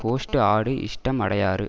host ஆடு இஷ்டம் அடையாறு